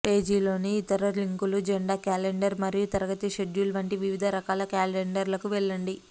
పేజీలోని ఇతర లింకులు జెండా క్యాలెండర్ మరియు తరగతి షెడ్యూల్ వంటి వివిధ రకాల క్యాలెండర్లకు వెళ్లండి